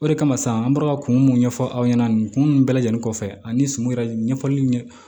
O de kama sisan an bɔra ka kun mun ɲɛfɔ aw ɲɛna nin kun bɛɛ lajɛlen kɔfɛ ani sum yɛrɛ ɲɛfɔli ɲɛ